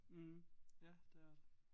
Mh ja det er det